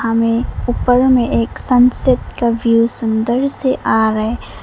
हमें ऊपर में एक सनसेट का व्यू सुंदर से आ रहा है।